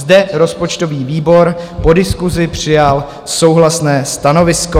Zde rozpočtový výbor po diskusi přijal souhlasné stanovisko.